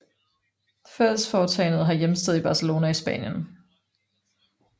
Fællesforetagendet har hjemsted i Barcelona i Spanien